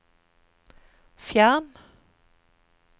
fjern